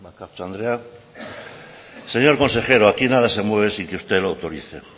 bakartxo andrea señor consejero aquí nada se mueve sin que usted lo autorice